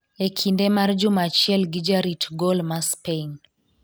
e kinde mar juma achiel gi jarit gol ma Spain